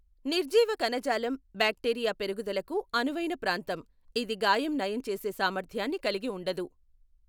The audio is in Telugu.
నిర్జీవ కణజాలం బ్యాక్టీరియా పెరుగుదలకు అనువైన ప్రాంతం, ఇది గాయం నయం చేసే సామర్థ్యాన్ని కలిగి ఉండదు.